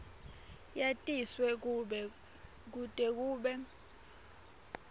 yatiswe kute kube